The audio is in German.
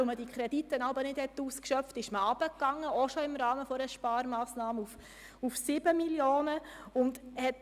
Weil man die Kredite jeweils nicht ausschöpfte, senkte man den Betrag ebenfalls im Rahmen einer Sparmassnahme auf 7 Mio. Franken.